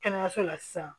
Kɛnɛyaso la sisan